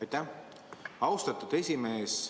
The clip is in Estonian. Aitäh, austatud esimees!